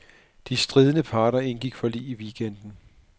De stridende parter indgik forlig i weekenden.